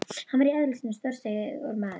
Hann var í eðli sínu stórstígur maður.